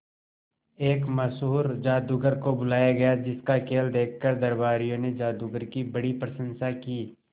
एक मशहूर जादूगर को बुलाया गया जिस का खेल देखकर दरबारियों ने जादूगर की बड़ी प्रशंसा की